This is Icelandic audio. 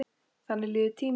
Þannig líður tíminn.